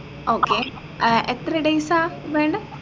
okay ഏർ എത്ര days ആ വേണ്ടെ